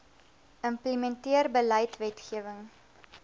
implementeer beleid wetgewing